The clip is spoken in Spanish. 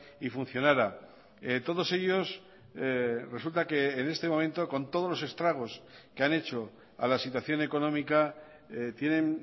y funcionara todos ellos resulta que en este momento con todos los estragos que han hecho a la situación económica tienen